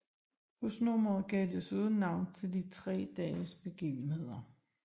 Husnummeret gav desuden navn til de tre dages begivenheder